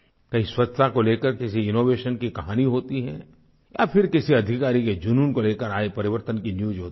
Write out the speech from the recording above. कहीं स्वच्छता को लेकर किसी इनोवेशन की कहानी होती है या फिर किसी अधिकारी के जुनून को लेकर आए परिवर्तन की न्यूज होती है